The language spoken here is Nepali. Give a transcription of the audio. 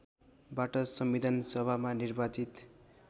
बाट संविधानसभामा निर्वाचित